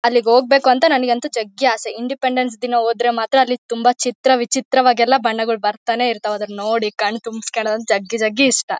ಅಲ್ಲಿಗೆ ಹೋಗ್ಬೇಕು ಅಂತ ನನಿಗಂತೂ ಜಗ್ಗಿ ಅಸೆ. ಇಂಡಿಪೆಂಡೆನ್ಸ್ ದಿನ ಹೋದ್ರೆ ಮಾತ್ರ ತುಂಬಾ ಚಿತ್ರ ವಿಚಿತ್ರವಾಗೆಲ್ಲಾ ಬಣ್ಣಗಳು ಬರ್ತಾನೆ ಇರ್ತಾವೆ ಅದನ್ನ ನೋಡಿ ಕಣ್ ತುಂಬಿಸಿಕೊಳ್ಳುವುದು ಜಗ್ಗಿ ಜಗ್ಗಿ ಇಷ್ಟ.